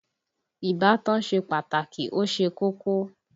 Ìbátan ṣe pàtàkì ó ṣe kókó